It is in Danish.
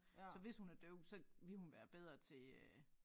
Så hvis hun er døv så ville hun være bedre til øh